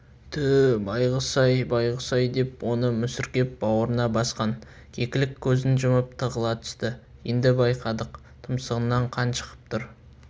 түү байғұс-ай байғұс-ай деп оны мүсіркеп бауырына басқан кекілік көзін жұмып тығыла түсті енді байқадық тұмсығынан қан шығып тұр